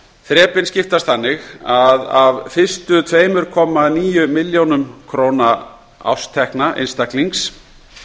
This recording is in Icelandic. þrepin skiptast þannig að af fyrstu tveimur komma níu milljónum króna árstekna einstaklings sem